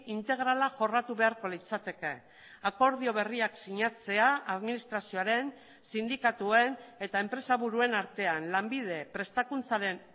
integrala jorratu beharko litzateke akordio berriak sinatzea administrazioaren sindikatuen eta enpresa buruen artean lanbide prestakuntzaren